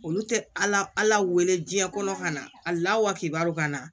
Olu tɛ ala ala wele diɲɛ kɔnɔ ka na a la wa k'a ka na